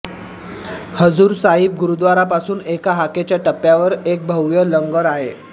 हजूर साहिब गुरुद्वारापासून एका हाकेच्या टप्प्यावर एक भव्य लंगर आहे